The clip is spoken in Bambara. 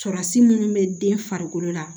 Surasi munnu bɛ den farikolo la